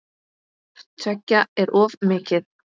Hvort tveggja er of mikið.